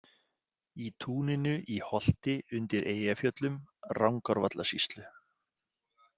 Í túninu í Holti undir Eyjafjöllum, Rangárvallasýslu.